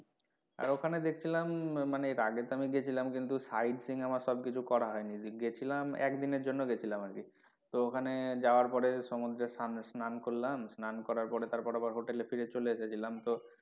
আর ওখানে দেখছিলাম মানে এর আগে তো আমি গেছিলাম কিন্তু side seeing আমার সব কিছু করা হয়নি গেছিলাম এক দিনের জন্য গেছিলাম আরকি তো ওখানে যাওয়ার পরে সমুদ্রের সামনে স্নাস্নান করলাম, স্নান করার পরে তারপরে hotel এ আবার ফিরে চলে এসেছিলাম তো,